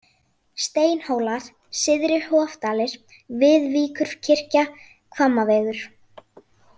Steinhólar, Syðri Hofdalir, Viðvíkurkirkja, Hvammavegur